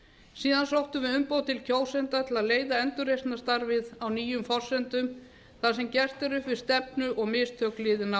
síðan sóttum við umboð til kjósenda til að leiða endurreisnarstarfið á nýjum forsendum þar sem gert er upp við stefnu og mistök liðinna